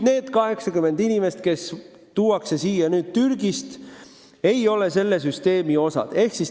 Neid 80 inimest, kes tuuakse siia nüüd Türgist, see vana süsteem ei hõlma.